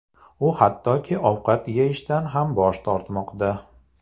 U hattoki ovqat yeyishdan ham bosh tortmoqda.